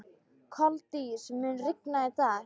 Koldís, mun rigna í dag?